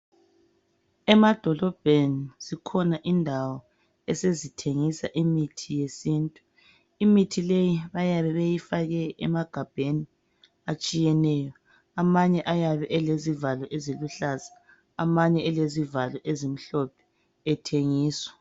Emadolobheni, zikhona indawo esezithengisa imithi yesintu. Imithi leyi bayabe beyifake emagabheni atshiyeneyo. Amanye ayabe elezivalo eziluhlaza amanye elezivalo ezimhlophe, ethengiswa.